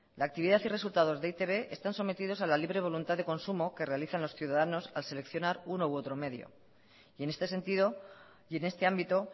la actividad y resultados de e i te be están sometidos a la libre voluntad de consumo que realizan los ciudadanos al seleccionar uno u otro medio y en este sentido y en este ámbito